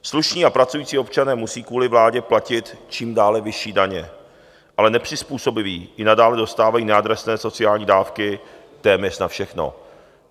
Slušní a pracující občané musí kvůli vládě platit čím dále vyšší daně, ale nepřizpůsobiví i nadále dostávají neadresné sociální dávky téměř na všechno.